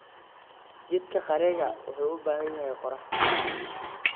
Jiidka qareega wuxuu u baahan yahay qorax.